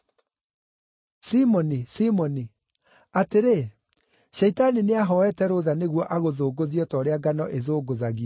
“Simoni, Simoni, atĩrĩ, Shaitani nĩahooete rũtha nĩguo agũthũngũthie o ta ũrĩa ngano ĩthũngũthagio.